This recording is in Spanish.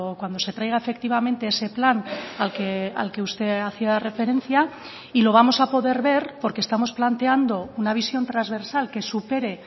cuando se traiga efectivamente ese plan al que usted hacía referencia y lo vamos a poder ver porque estamos planteando una visión transversal que supere